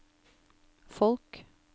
folk